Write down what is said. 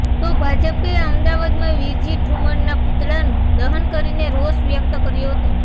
તો ભાજપે અમદાવાદમાં વિરજી ઠુમરના પુતળાનું દહન કરીને રોષ વ્યક્ત કર્યો હતો